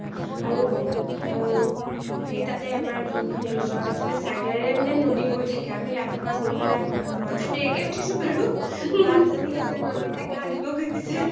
আৰু সেই তাতে আমাৰ যোনখন resort আছিলে side ৰ মানে নদী বৈ থাকে আমি ৰাতিপুৱাই গৈ পেলাই , মইটো বাৰু দেৰিকৈ ওঠিছো বাৰু বা জনী হ’তে নদীতে গা ধুব গৈছে